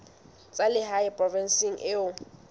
tsa lehae provinseng eo o